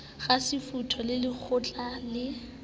kasefuthu le ka lekgetlo le